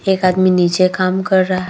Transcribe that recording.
एक आदमी नीचे काम कर रहा है ।